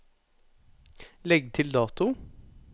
Legg til dato